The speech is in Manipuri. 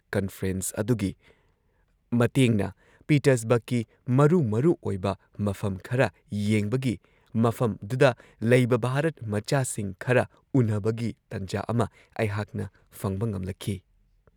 ꯀꯟꯐ꯭ꯔꯦꯟꯁ ꯑꯗꯨꯒꯤ ꯃꯇꯦꯡꯅ ꯄꯤꯇꯔꯁꯕꯔꯒꯀꯤ ꯃꯔꯨ ꯃꯔꯨ ꯑꯣꯏꯕ ꯃꯐꯝ ꯈꯔ ꯌꯦꯡꯕꯒꯤ, ꯃꯐꯝꯗꯨꯗ ꯂꯩꯕ ꯚꯥꯔꯠꯃꯆꯥꯁꯤꯡ ꯈꯔ ꯎꯟꯅꯕꯒꯤ ꯇꯟꯖꯥ ꯑꯃ ꯑꯩꯍꯥꯛꯅ ꯐꯪꯕ ꯉꯝꯂꯛꯈꯤ ꯫